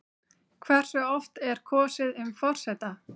Hversu oft er kosið um forseta?